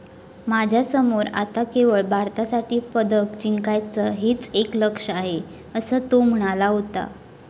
माझ्यासमोर आता केवळ भारतासाठी पदक जिंकायचं हेच एक लक्ष्य आहे, असं तो म्हणाला होता.